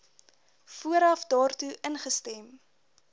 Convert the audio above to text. vooraf daartoe ingestem